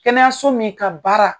Kɛnɛyaso min ka baara